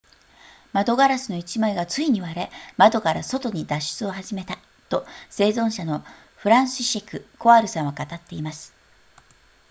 窓ガラスの1枚がついに割れ窓から外に脱出を始めたと生存者のフランシシェクコワルさんは語っています